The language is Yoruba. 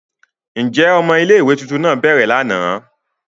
Njẹ ọmọ ìlé-ìwé tuntun náa bẹrẹ làná?